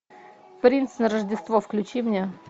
принц на рождество включи мне